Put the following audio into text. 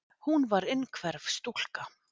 Hún var innhverf stúlka.